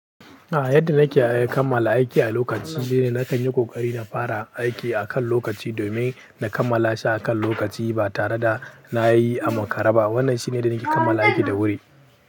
A yadda nake kamala aiki a lokaci shine na kan yi kokari na fara aiki akan lokaci domin na kammala shi akan lokaci ba tare da na yi a makare ba. Wannan shine yadda nake kammala aiki da wuri.